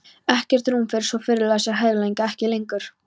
Ekkert rúm fyrir svo friðlausar hugleiðingar: ekki lengur.